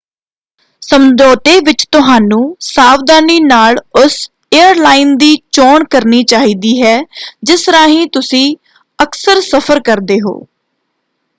ਸਮਝੌਤੇ ਵਿੱਚ ਤੁਹਾਨੂੰ ਸਾਵਧਾਨੀ ਨਾਲ ਉਸ ਏਅਰਲਾਈਨ ਦੀ ਚੋਣ ਕਰਨੀ ਚਾਹੀਦੀ ਹੈ ਜਿਸ ਰਾਹੀਂ ਤੁਸੀਂ ਅਕਸਰ ਸਫ਼ਰ ਕਰਦੇ ਹੋ।